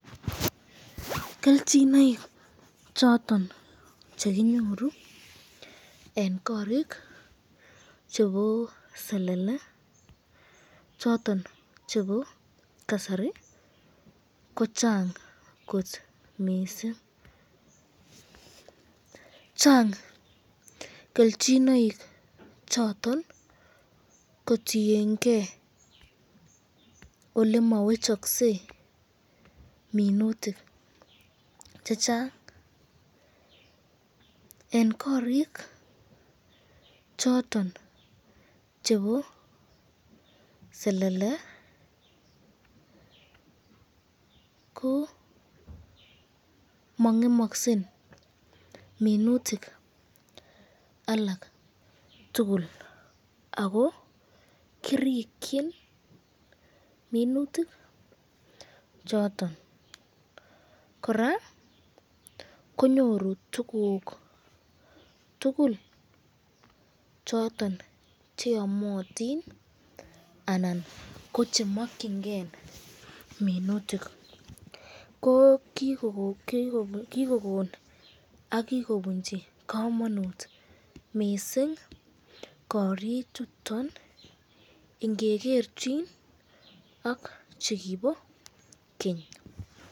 Kelchinoik choton chekinyoru eng korik chebo selele, choton chebo kasari, ko Chang kot missing, Chang kelchinoik choton kotienke olemawechakse minutik chechang, eng korik choton chebo selele ko mangemaksen minutik alak tukul ako kirikyin minutik choton, koraa konyoru tukuk tukul choton cheamatin anan ko chemakyinike minutik ko kikokon ak kikobunchi kamanut mising korik chuton , ingegerchin ak chekibo keny.